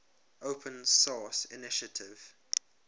open source initiative